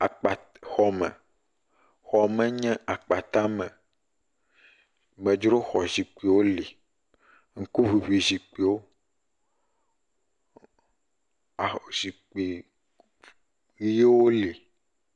Akpat xɔ me, xɔ me nye akpata me, medzro xɔ zikpuiwo li, ŋuku ʋuʋui zikpuiwo, aho zikpui ɣiewo li.